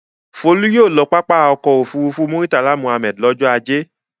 Folú yóò lọ pápá ọkọ̀-òfurufú Murtala Muhammad lọ́jọ́ ajé.